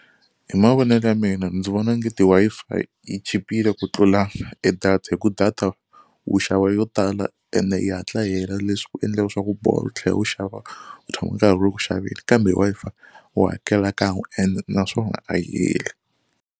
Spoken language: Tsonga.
Hi mavonelo ya mina ndzi vona ongeti Wi-Fi yi chipile ku tlula e data hi ku data wu xava yo tala ende yi hatla yi hela leswi ku endlaka leswaku u tlhela wu xava ku tshama karhi ku ri ku xaveni kambe Wi-Fi u hakela kan'we ene naswona a yi heli.